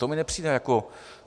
To mi nepřijde jako...